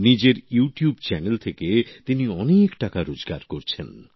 নিজের YouTube channel থেকে তিনি অনেক টাকা রোজগার করছেন